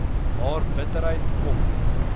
haar bitterheid kom